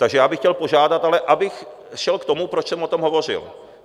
Takže já bych chtěl požádat, ale abych šel k tomu, proč jsem o tom hovořil.